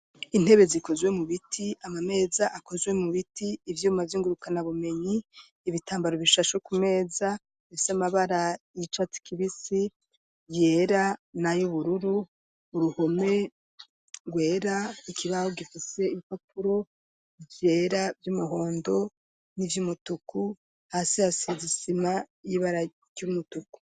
intebe zikozwe mu biti ama meza akozwe mu biti ivyuma vyingurukana bumenyi ibitambaro bishasho ku meza ifise amabara yicatsi kibisi byera na y'ubururu uruhome rwera ikibaho gifise ibipapuro vyera vy'umuhondo n'ivy'umutuku hasi hasize isima y'ibara ry'umutuku.